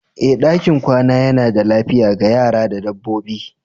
Ee, ɗakin kwana yana da lafiya ga yara da dabbobi.